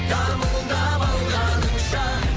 дамылдап алғаныңша